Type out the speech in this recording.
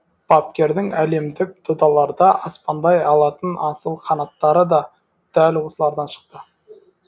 бапкердің әлемдік додаларда аспандай алатын асыл қанаттары да дәл осылардан шықты